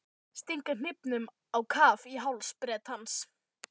Stinga hnífnum á kaf í háls Bretans.